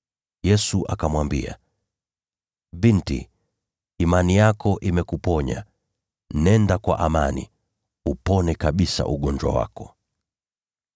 Yesu akamwambia, “Binti, imani yako imekuponya. Nenda kwa amani, upone kabisa ugonjwa wako.”